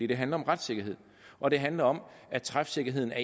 det handler om retssikkerhed og det handler om at træfsikkerheden er